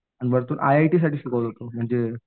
आणि वरतून I I T साठी शिकवत होता म्हणजे